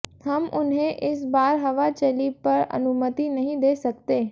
हम उन्हें इस बार हवा चली पर अनुमति नहीं दे सकते